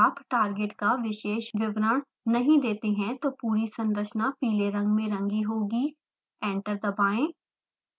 यदि आप टारगेट का विशेष विवरण नहीं देते हैं तो पूरी संरचना पीले रंग में रंगी होगी